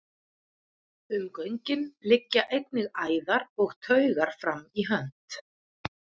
Um göngin liggja einnig æðar og taugar fram í hönd.